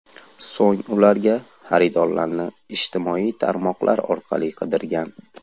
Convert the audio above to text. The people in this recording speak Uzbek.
So‘ng ularga xaridorlarni ijtimoiy tarmoqlar orqali qidirgan.